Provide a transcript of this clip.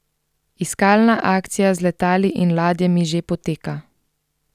Iskalna akcija z letali in ladjami že poteka.